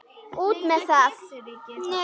Út með það!